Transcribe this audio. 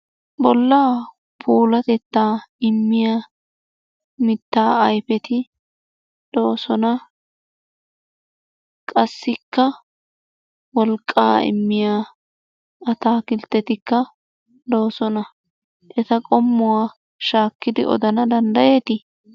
Bollaa puulatetta immiya mitaa ayfeti de'oosona. Qassikka wolqqaa immiya atakkiltettikka doosona. Eta qommuwa shaakkidi odana danddyeeti?